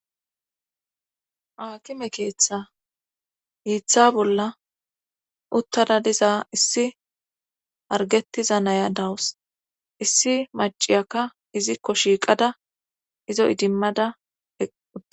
aakime keeththa hiiththa bolla uttada diza issi hargetiza naya dawus issi maciyakka izikko shiiqada izo idimmada eqqua